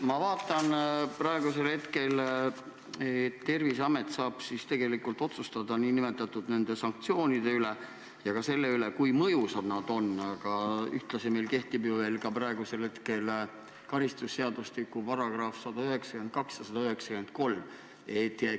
Ma vaatan, et Terviseamet saab otsustada nn nende sanktsioonide üle ja ka selle üle, kui mõjusad need on, aga ühtlasi kehtivad meil ju veel praegu karistusseadustiku §-d 192 ja 193.